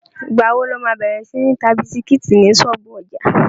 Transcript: Ìgbà wo lo má bẹ̀rẹ̀ sí ń ta bisikítì ní ṣọ́ọ̀bú ọjà?